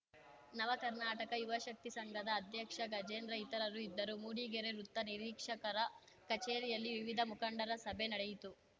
ನವಕರ್ನಾಟಕ ಯುವ ಶಕ್ತಿ ಸಂಘದ ಅಧ್ಯಕ್ಷ ಗಜೇಂದ್ರ ಇತರರು ಇದ್ದರು ಮೂಡಿಗೆರೆ ವೃತ್ತ ನಿರೀಕ್ಷಕರ ಕಚೇರಿಯಲ್ಲಿ ವಿವಿಧ ಮುಖಂಡರ ಸಭೆ ನಡೆಯಿತು